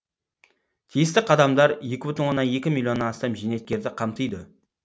тиісті қадамдар екі бүтін оннан екі миллионнан астам зейнеткерді қамтиды